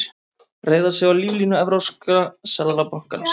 Reiða sig á líflínu Evrópska seðlabankans